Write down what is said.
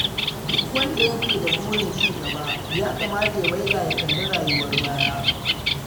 Duk wanda yake da burin cigaba ya kamata ya waiga ya kalli rayuwar baya.